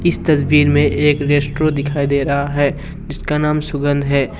इस तस्वीर में एक रेस्टोरेंट दिखाई दे रहा है जिसका नाम सुगंध है।